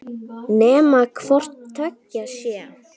Nema hvort tveggja sé.